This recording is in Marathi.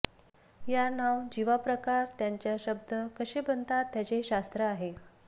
या नाव जीवा प्रकार त्यांच्या शब्द कसे बनतात त्याचे शास्त्र आहे